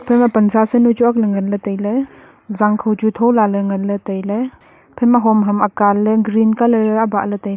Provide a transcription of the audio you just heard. pansa sanu chu akley nganley tailey zangkho chu thola ley nganley tailey ephaima hom ham akanley green colour e abahley tailey.